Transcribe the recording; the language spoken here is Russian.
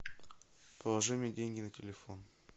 положи мне деньги на телефон